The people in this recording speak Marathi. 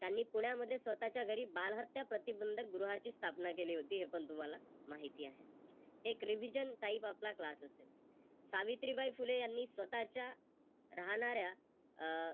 त्यांनी पुण्या मध्ये स्वतःच्या घरी बालहत्या प्रतिबंधक गृहाची स्थापना केली होती हे पण तुम्हाला माहिती आहे. एक Revision type आपला Class असेल. सावित्रीबाई फुले यांनी स्वतःच्या राहणाऱ्या अह